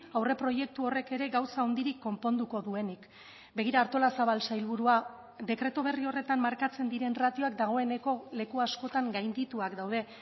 aurreproiektu horrek ere gauza handirik konponduko duenik begira artolazabal sailburua dekretu berri horretan markatzen diren ratioak dagoeneko leku askotan gaindituak daude